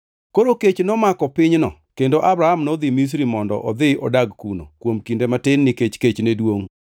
Koro kech nomako pinyno kendo Abram nodhi Misri mondo odhi odag kuno kuom kinde matin nikech kech ne duongʼ.